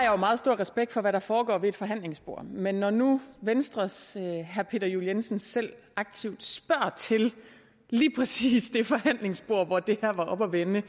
jo meget stor respekt for hvad der foregår ved et forhandlingsbord men når nu venstres herre peter juel jensen selv aktivt spørger til lige præcis det forhandlingsbord hvor det her var oppe at vende